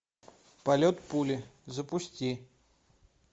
полет пули запусти